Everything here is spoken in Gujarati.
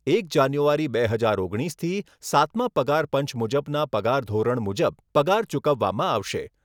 એક જાન્યુઆરી બે હજાર ઓગણીસથી સાતમા પગાર પંચ મુજબના પગાર ધોરણ મુજબ પગાર ચુકવવામાં આવશે.